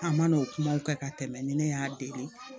A man n'o kumaw kɛ ka tɛmɛ ni ne y'a deli